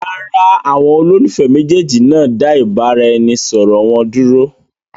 Rárá, àwọn olólùfẹ́ méjèèjì náà dá ìbáraẹnisọọ̀rọ̀ wọn dúró.